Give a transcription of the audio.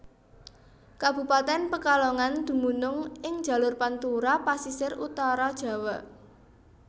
Kabupatèn Pekalongan dumunung ing jalur Pantura Pasisir Utara Jawa